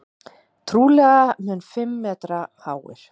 Trúlega um fimm metra háir.